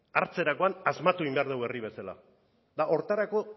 hartzerakoan asmatu egin behar dugu herri bezala eta horretarako